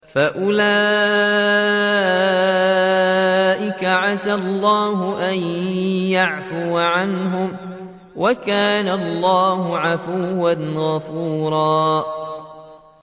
فَأُولَٰئِكَ عَسَى اللَّهُ أَن يَعْفُوَ عَنْهُمْ ۚ وَكَانَ اللَّهُ عَفُوًّا غَفُورًا